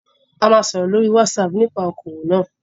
A ma sọ̀rọ̀ lórí WhatsApp nípa okòwò náà